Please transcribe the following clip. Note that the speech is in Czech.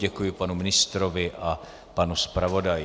Děkuji panu ministrovi a panu zpravodaji.